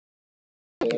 Tinnu líka.